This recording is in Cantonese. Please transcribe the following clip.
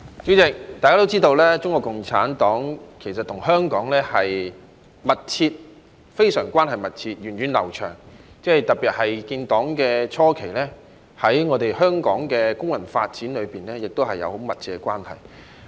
主席，大家都知道，中國共產黨跟香港的關係非常密切，源遠流長，特別是在建黨初期，更與香港的工運發展有很密切的關係。